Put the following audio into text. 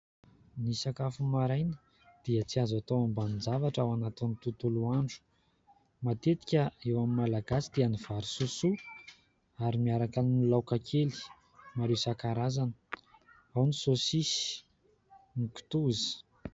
Ny sakafo maraina dia tsy azo atao ambanin-javatra ao anatin'ny tontolo andro. Matetika eo amin'ny Malagasy dia ny vary sosoa ary miaraka amin'ny laoka kely maro isan-karazany : ao ny saosisy, ny kitoza.